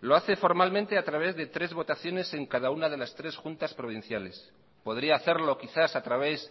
lo hace formalmente a través de tres votaciones en cada una de las tres juntas provinciales podría hacerlo quizás a través